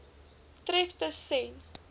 tref tus sen